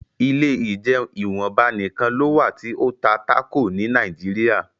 ilé ìjeun ìwọnba nìkàn ló wá ti o tá Taco ní Nàìjíríà.